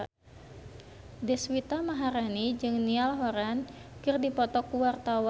Deswita Maharani jeung Niall Horran keur dipoto ku wartawan